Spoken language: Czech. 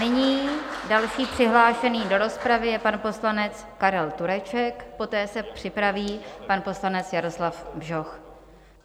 Nyní další přihlášený do rozpravy je pan poslanec Karel Tureček, poté se připraví pan poslanec Jaroslav Bžoch.